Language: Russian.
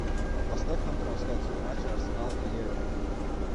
поставь нам трансляцию матча арсенал и эвертон